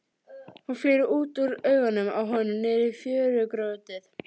Hún flýr út úr augunum á honum niður í fjörugrjótið.